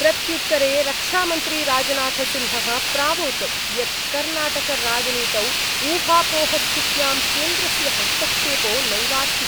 प्रत्युत्तरे रक्षामन्त्री राजनाथसिंह: प्रावोचत् यत् कर्णाटकराजनीतौ ऊहापोहस्थित्यां केन्द्रस्य हस्तक्षेपो नैवास्ति।